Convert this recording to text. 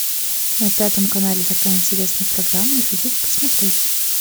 на пятом канале такая интересная программа не хотите посмотреть